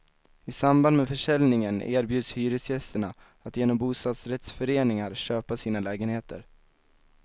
I samband med försäljningen erbjuds hyresgästerna att genom bostadsrättsföreningar köpa sina lägenheter.